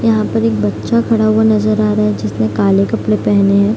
यहाँ पर एक बच्चा खड़ा हुवा नजर आ रहा है जिसने काले कपड़े पहने हैं।